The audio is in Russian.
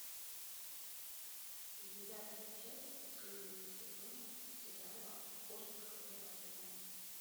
девятая часть последнего сезона сериала охотник за разумом